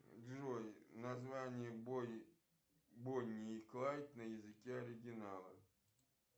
джой название бонни и клайд на языке оригинала